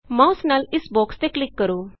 mouse ਨਾਲ ਇਸ box ਤੇ ਕਲਿਕ ਕਰੋ